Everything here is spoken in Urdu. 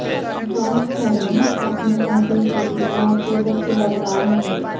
جارج ٹینیٹ اپنے عہدے سے اتوار کو دست بردار ہونگے